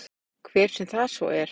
Hver sem það svo er.